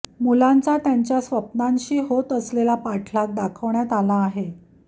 मुलांचा त्यांच्या स्वप्नांशी होत असलेला पाठलाग दाखवण्यात आला आहे